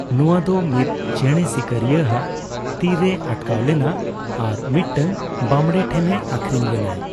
ᱱᱚᱣᱟᱫᱚ ᱢᱤᱛ ᱪᱮᱸᱲᱮ ᱥᱤᱠᱟᱹᱨᱤᱭᱟᱜ ᱛᱤᱨᱮ ᱟᱴᱠᱟᱣ ᱞᱮᱱᱟ ᱟᱨ ᱢᱤᱫᱴᱟᱝ ᱵᱟᱢᱽᱲᱮ ᱴᱷᱮᱱᱮ ᱟᱠᱷᱨᱤᱧ ᱞᱮᱱᱟᱭ ᱾